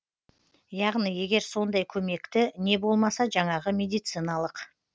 яғни егер сондай көмекті не болмаса жаңағы медициналық